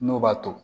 N'o b'a to